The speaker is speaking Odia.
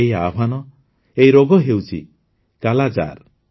ଏହି ଆହ୍ୱାନ ଏହି ରୋଗ ହେଉଛି କାଲାଜାର